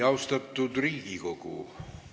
Austatud Riigikogu!